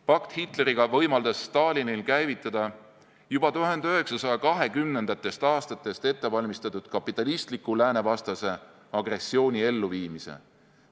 Pakt Hitleriga võimaldas Stalinil käivitada juba 1920. aastatest ettevalmistatud kapitalistliku lääne vastase agressiooni elluviimise.